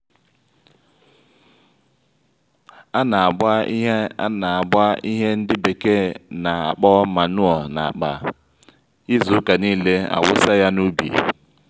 ana-agba ihe ana-agba ihe ndị bekee na-akpọ manụo n'akpa izu ụka niile awusa ya n'ubi